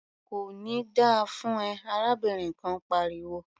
"Kò ní da fún ẹ!" arábìnrin kan pariwo.